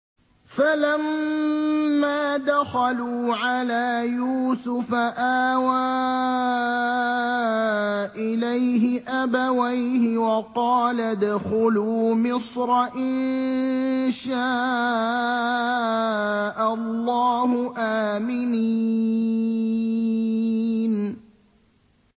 فَلَمَّا دَخَلُوا عَلَىٰ يُوسُفَ آوَىٰ إِلَيْهِ أَبَوَيْهِ وَقَالَ ادْخُلُوا مِصْرَ إِن شَاءَ اللَّهُ آمِنِينَ